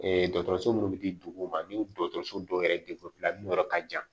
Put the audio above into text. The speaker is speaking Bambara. dɔgɔtɔrɔso munnu bɛ di dugu ma ni dɔgɔtɔrɔso dɔw yɛrɛ yɔrɔ ka jan